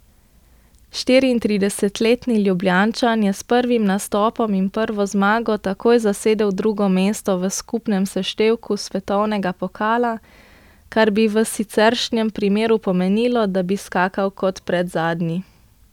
Štiriintridesetletni Ljubljančan je s prvim nastopom in prvo zmago takoj zasedel drugo mesto v skupnem seštevku svetovnega pokala, kar bi v siceršnjem primeru pomenilo, da bi skakal kot predzadnji.